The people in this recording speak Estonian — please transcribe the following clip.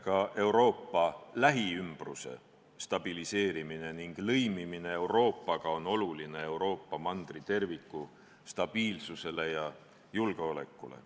Ka Euroopa lähiümbruse stabiliseerimine ning lõimimine Euroopaga on oluline Euroopa maailmajao kui terviku stabiilsusele ja julgeolekule.